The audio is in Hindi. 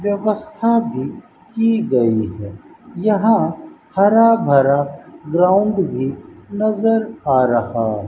व्यवस्था भी की गई है यहां हरा-भरा ग्राउंड भी नजर आ रहा --